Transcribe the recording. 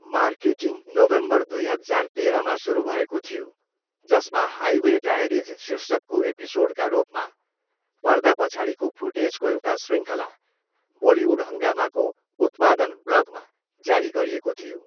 Marketing November, दुई हजार तेह्रमा सुरु भएको थियो जसमा हाइवे डायरिज शीर्षकको एपिसोडका रूपमा पर्दा पछाडिको फुटेजको एउटा शृङ्खला बलिउड हङ्गामाको उत्पादन ब्लगमा जारी गरिएको थियो।